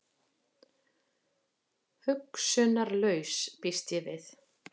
Hugsunarlaus, býst ég við.